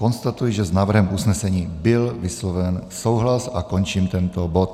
Konstatuji, že s návrhem usnesení byl vysloven souhlas, a končím tento bod.